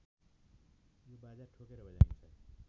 यो बाजा ठोकेर बजाइन्छ